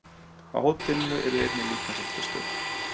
Á hótelinu yrði einnig líkamsræktarstöð